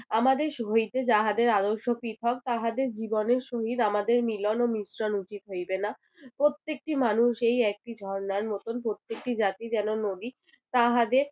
আমাদের সহিতে যাদের আদর্শ পৃথক তাহাদের জীবনের সহিত আমাদের মিলন ও মিশ্রণ উচিত হইবে না। প্রত্যেকটি মানুষ এই একটি ঝর্ণার মতন প্রত্যেকটি জাতি যেন নদী। তাহাদের